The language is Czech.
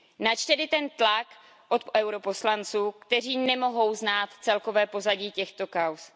Nač tedy ten tlak od europoslanců, kteří nemohou znát celkové pozadí těchto kauz?